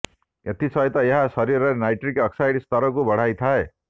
ଏଥି ସହିତ ଏହା ଶରୀରରେ ନାଇଟ୍ରିକ୍ ଅକ୍ସାଇଡ୍ର ସ୍ତରକୁ ବଢ଼ାଇଥାଏ